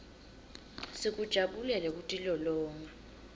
sikujabulele kutilolonga